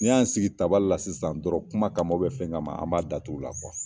N'i y'an sigi tabali la sisan dɔrɔn kuma kama fɛn kama an b'a da t'u la